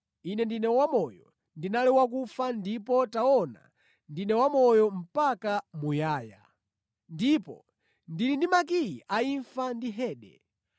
Ine ndine Wamoyo; ndinali wakufa ndipo taona ndine wamoyo mpaka muyaya! Ndipo ndili ndi makiyi a imfa ndi Hade.